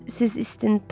Siz istintaq dediniz.